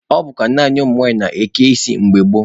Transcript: Ọ bụkwa naanị ụmụ nwaanyị na-eke isi mgbe gboo.